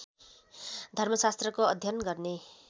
धर्मशास्त्रको अध्ययन गर्ने